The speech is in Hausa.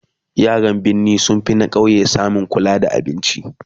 yaran birni sun finna ƙauye samun kula da abinci